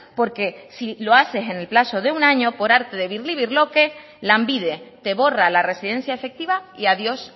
porque si lo hacen en el plazo de un año por arte de birlibirloque lanbide te borra la residencia efectiva y adiós